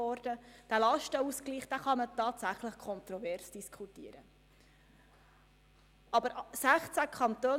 Dieser Lastenausgleich kann tatsächlich kontrovers diskutiert werden.